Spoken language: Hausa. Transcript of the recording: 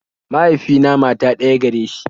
Mahaifina mata ɗaya gare shi